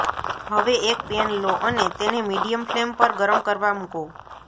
હવે એક પેન લો અને તેને મીડિયમ ફ્લેમ પર ગરમ કરવા મૂકો